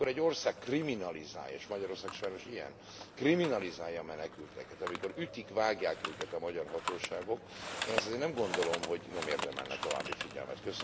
Tehát amikor egy ország kriminalizálja, és Magyarország sajnos ilyen, kriminalizálja a menekülteket, amikor ütik vágják őket a magyar hatóságok, én ezt azért nem gondolom, hogy nem érdemelne további figyelmet.